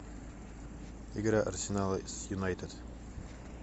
игра арсенала с юнайтед